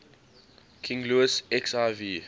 king louis xiv